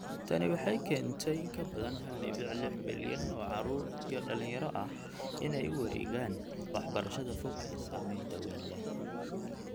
Tani waxay keentay in ka badan 1.6 bilyan oo caruur iyo dhalinyaro ah inay u wareegaan waxbarashada fog ee saamaynta wayn leh.